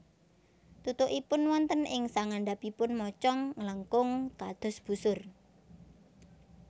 Tutukipun wonten ing sangandhapipun mocong nglengkung kados busur